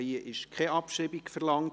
Die Abschreibung ist nicht verlangt.